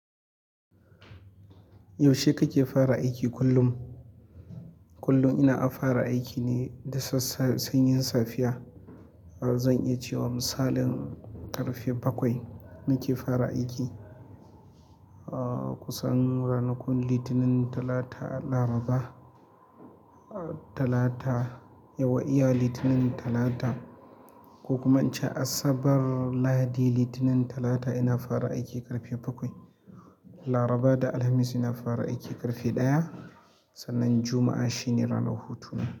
Yaushe kake fara aiki kullum? Kullum ina fara aiki ne da sassa sanyin safiya. Zan iya cewa misalin ƙarfe bakwai nake fara aiki. Kusan ranakun Litinin, Talata, Laraba, Talata, yawwa iya Litinin, Talata ko kuma in ce Asabar, Lahadi, Litinin, Talata ina fara aiki ƙarfe bakwai. Laraba da Alhamis ina fara aiki ƙarfe ɗaya sannan Juma'a shine ranar hutu.